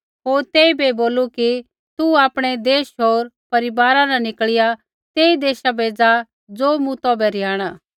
होर तेइबै बोलू कि तू आपणै देश होर परिवारा न निकल़िया तेई देशा बै ज़ा ज़ो मूँ तौभै रिहाणा